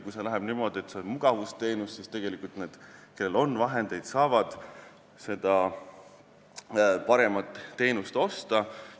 Kui see läheb niimoodi, et see on mugavusteenus, siis need, kellel on vahendeid, saavad seda paremat teenust osta.